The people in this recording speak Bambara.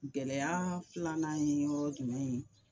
Gɛlɛya filanan ye yɔrɔ jumɛn ye